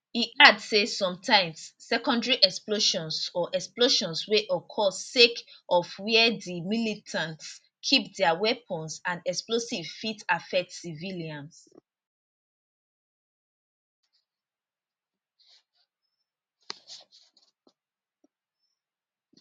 e add say sometimes secondary explosions or explosions wey occur sake of wia di militants keep dia weapons and explosives fit affect civilians